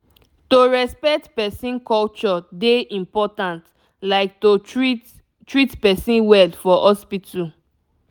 to respect person culture dey important like to treat treat person well for hospital